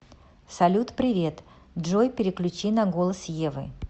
салют привет джой переключи на голос евы